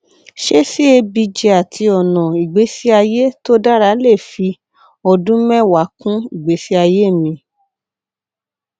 ṣé cabg àti ọnà ìgbésí ayé tó dára lè fi ọdún mẹwàá kún ìgbésí ayé mi